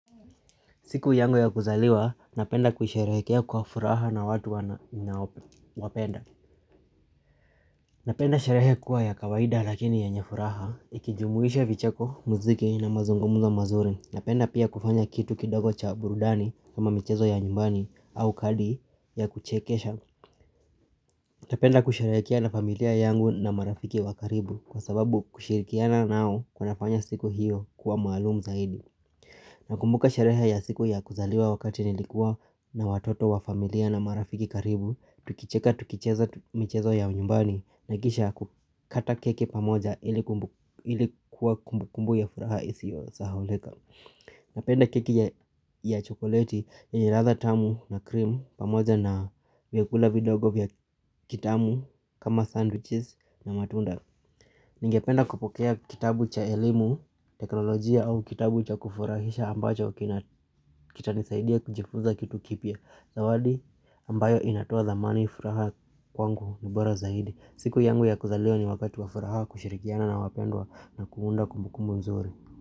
Siku yangu ya kuzaliwa, napenda kuisherehekea kwa furaha na watu ninaowapenda. Napenda sherehe kuwa ya kawaida lakini yenye furaha, ikijumuisha vicheko, muziki na mazungumuzo mazuri. Napenda pia kufanya kitu kidogo cha burudani kama michezo ya nyumbani au kadi ya kuchekesha. Napenda kusherehekea na familia yangu na marafiki wa karibu kwa sababu kushirikiana nao kunafanya siku hiyo kuwa maalumu zaidi. Nakumbuka sherehe ya siku ya kuzaliwa wakati nilikuwa na watoto wa familia na marafiki karibu. Tukicheka tukicheza michezo ya nyumbani na kisha kukata keki pamoja ilikuwa kumbukumbu ya furaha isiyo sahaulika Napenda keki ya chokoleti yenye ladha tamu na cream pamoja na vyakula vidogo vya kitamu kama sandwiches na matunda. Ningependa kupokea kitabu cha elimu, teknolojia au kitabu cha kufurahisha ambacho kitanisaidia kujifuza kitu kipya. Zawadi ambayo inatoa thamani furaha kwangu ni bora zaidi. Siku yangu ya kuzaliwa ni wakati wa furaha, kushirikiana na wapendwa na kuunda kumbukumbu nzuri.